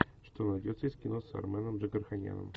что найдется из кино с арменом джигарханяном